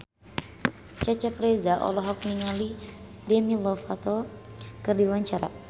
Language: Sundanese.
Cecep Reza olohok ningali Demi Lovato keur diwawancara